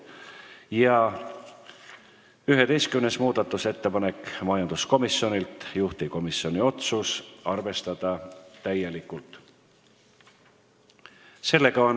Ja 11. muudatusettepanek, samuti majanduskomisjonilt, juhtivkomisjoni otsus: arvestada täielikult.